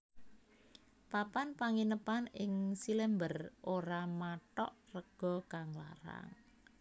Papan Panginepan ing Cilember ora mathog rega kang larang